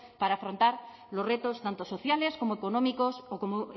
para afrontar los retos tanto sociales como económicos o como